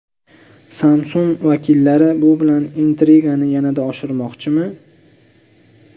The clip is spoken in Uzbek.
Samsung vakillari bu bilan intrigani yanada oshirmoqchimi?